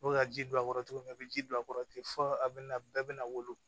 N'o bɛ ka ji don a kɔrɔ cogo min na a bɛ ji don a kɔrɔ ten fɔ a bɛ na bɛɛ bɛna wolo